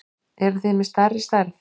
Eruð þið með stærri stærð?